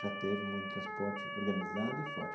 Já teve muito transporte organizado e forte.